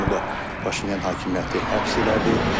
Onu da Paşinyan hakimiyyəti həbs elədi.